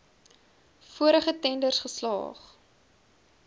vorige tenders geslaag